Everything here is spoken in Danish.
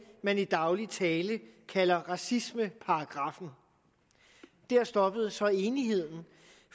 man i daglig tale kalder racismeparagraffen der stopper så enigheden